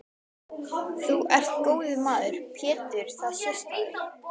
Þú ert góður maður Pétur það sést á þér.